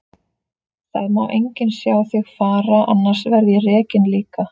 Það má enginn sjá þig fara, annars verð ég rekinn líka.